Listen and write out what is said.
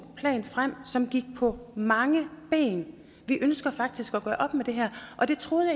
plan frem som gik på mange ben vi ønsker faktisk at gøre op med det her og det troede